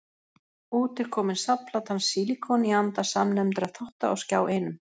Út er komin safnplatan Sílíkon, í anda samnefndra þátta á Skjá Einum.